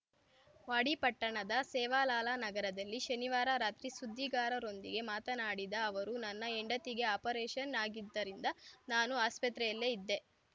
ವಾಡಿ ಪಟ್ಟಣದ ಸೇವಾಲಾಲ ನಗರದಲ್ಲಿ ಶನಿವಾರ ರಾತ್ರಿ ಸುದ್ದಿಗಾರರೊಂದಿಗೆ ಮಾತನಾಡಿದ ಅವರು ನನ್ನ ಹೆಂಡತಿಗೆ ಆಪರೇಷನ್‌ ಆಗಿದ್ದರಿಂದ ನಾನು ಆಸ್ಪತ್ರೆಯಲ್ಲೇ ಇದ್ದೆ